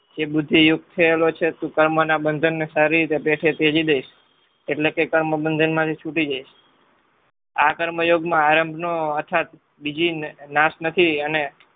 જે બુદ્ધિ યુક્ત થયેલો છે. તું કર્મના બંધનને સારી રીતે પેઠે ત્યજી દઈશ એટલે કે કર્મ બંધન માંથી છૂટી જઈશ આ કર્મ યોગમાં આરંભનો યથાર્ત બીજી નાશ નથી અને